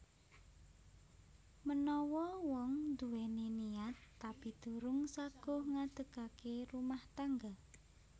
Menawa wong nduwèni niat tapi durung saguh ngadegake rumah tangga